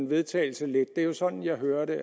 vedtagelse lidt det er jo sådan jeg hører det